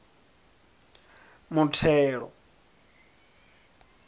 muthelo